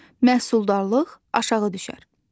Məhsuldarlıq aşağı düşər.